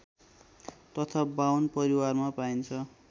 तथा बाहुन परिवारमा पाइन्छ